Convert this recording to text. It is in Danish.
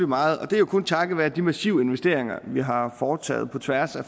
meget og det er jo kun takket være de massive investeringer vi har foretaget på tværs af